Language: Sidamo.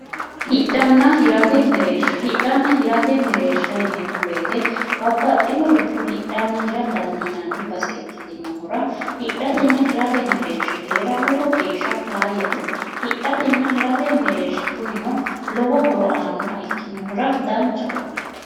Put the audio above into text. hidhanna hirate mereersha, hidhanna mereersha yineemmo woyte babbaxinoricho hidhanna hira dandiinanni base ikkitinohura hidhatenna hirate mereershi heera lowo geeshsha faayyate hidhatenna hirate mereershi lowo horo aannoha ikkinohura danchaho